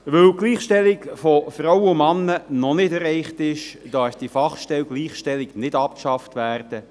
Weil die Gleichstellung von Frauen und Männern noch nicht erreicht ist, darf die Gleichstellungsfachstelle nicht abgeschafft werden.